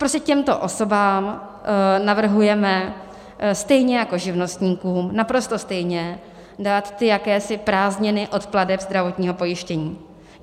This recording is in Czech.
Prostě těmto osobám navrhujeme stejně jako živnostníkům naprosto stejně dát ty jakési prázdniny od plateb zdravotního pojištění.